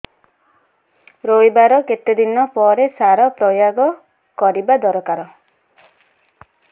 ରୋଈବା ର କେତେ ଦିନ ପରେ ସାର ପ୍ରୋୟାଗ କରିବା ଦରକାର